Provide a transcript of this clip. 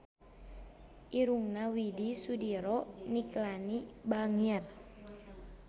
Irungna Widy Soediro Nichlany bangir